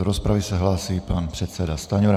Do rozpravy se hlásí pan předseda Stanjura.